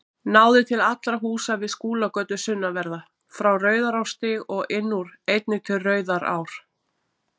Náði til allra húsa við Skúlagötu sunnanverða, frá Rauðarárstíg og inn úr, einnig til Rauðarár.